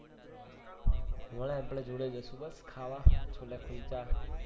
લઈને આપણે જોડે જઈશું બસ ખાવા છોલે કુલચા